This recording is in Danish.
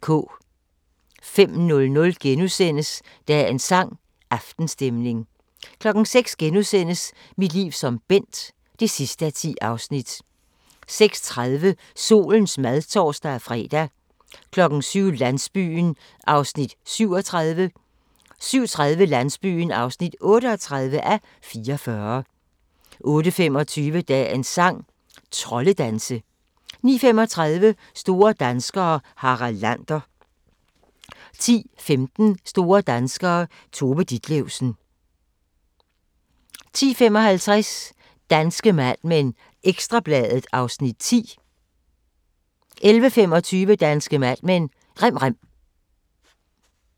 05:00: Dagens sang: Aftenstemning * 06:00: Mit liv som Bent (10:10)* 06:30: Solens mad (tor-fre) 07:00: Landsbyen (37:44) 07:30: Landsbyen (38:44) 08:25: Dagens sang: Troldedanse 09:35: Store danskere - Harald Lander 10:15: Store danskere - Tove Ditlevsen 10:55: Danske Mad Men: Ekstra Bladet (Afs. 10) 11:25: Danske Mad Men: Rem rem